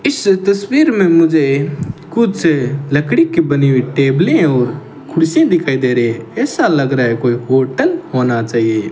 इस तस्वीर में मुझे कुछ लकड़ी की बनी हुई टेबलें और कुर्सी दिखाई दे रही ऐसा लग रहा है कोई होटल होना चाहिए।